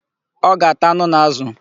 Ọ ga-ata anụ na ázụ̀.